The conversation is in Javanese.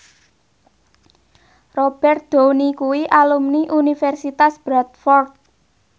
Robert Downey kuwi alumni Universitas Bradford